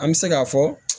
An bɛ se k'a fɔ